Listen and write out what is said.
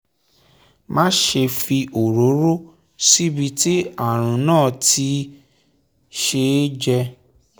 máṣe fi òróró síbi tí ààrùn náà ti ṣe é jẹ